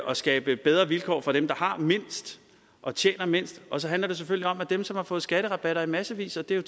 og skabe bedre vilkår for dem der har mindst og tjener mindst og så handler det selvfølgelig om at dem som har fået skatterabatter i massevis og det er